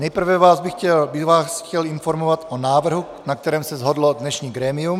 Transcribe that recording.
Nejprve bych vás chtěl informovat o návrhu, na kterém se shodlo dnešní grémium.